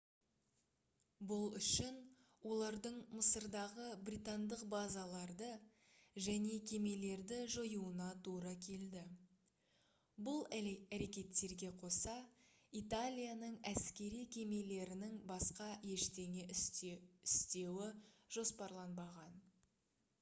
бұл үшін олардың мысырдағы британдық базаларды және кемелерді жоюына тура келді бұл әрекеттерге қоса италияның әскери кемелерінің басқа ештеңе істеуі жоспарланбаған